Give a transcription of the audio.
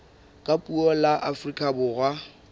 ka puo la afrika borwa